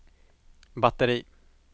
batteri